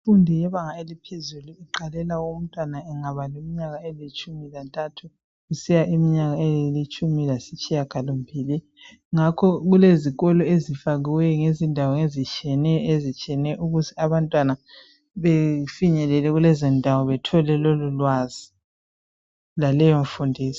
Imfundo yebanga eliphezulu iqalela umntwana engaba leminyaka elitshumi lantathu kusiya kwelitshumi lasitshiyagalombili. Ngakho kulezikolo ezifakwe ngezindawo ezitshiyeneyo ukuze abantwana bafinyelele kulezondawo bethole lolulwazi laleyo mfundiso.